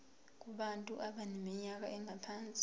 kubantu abaneminyaka engaphansi